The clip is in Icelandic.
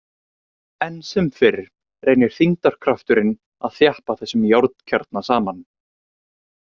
Enn sem fyrr reynir þyngdarkrafturinn að þjappa þessum járnkjarna saman.